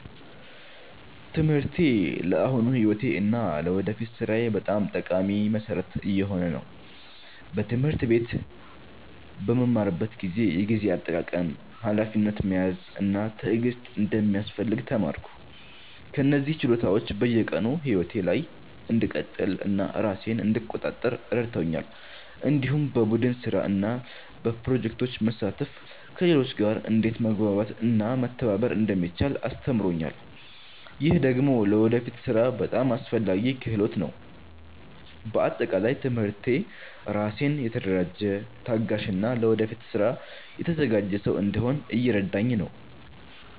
ትምህርቴ ለአሁኑ ሕይወቴ እና ለወደፊት ሥራዬ በጣም ጠቃሚ መሠረት እየሆነ ነው። በትምህርት ቤት በምማርበት ጊዜ የጊዜ አጠቃቀም፣ ሀላፊነት መያዝ እና ትዕግስት እንደሚያስፈልግ ተማርኩ። እነዚህ ችሎታዎች በየቀኑ ሕይወቴ ላይ እንድቀጥል እና ራሴን እንድቆጣጠር ረድተውኛል። እንዲሁም በቡድን ስራ እና በፕሮጀክቶች መሳተፍ ከሌሎች ጋር እንዴት መግባባት እና መተባበር እንደሚቻል አስተምሮኛል። ይህ ደግሞ ለወደፊት ሥራ በጣም አስፈላጊ ክህሎት ነው። በአጠቃላይ ትምህርቴ ራሴን የተደራጀ፣ ታጋሽ እና ለወደፊት ስራ የተዘጋጀ ሰው እንድሆን እየረዳኝ ነው።